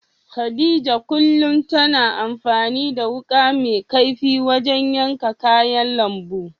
Khadija kullum tana amfani da wuƙa mai kaifi wajen yanka kayan lambu.